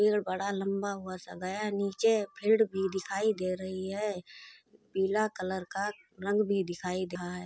पेड़ बड़ा लम्बा हुआ सा गया है नीचे भीड़ भी दिखाई दे ही है पिला कलर का रंग भी दिखाई डा हैं।